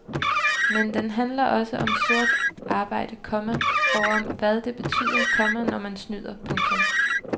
Men den handler også om sort arbejde, komma og om hvad det betyder, komma når man snyder. punktum